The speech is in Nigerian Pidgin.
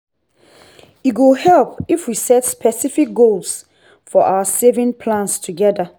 e go help if we set specific goals for our saving plans together.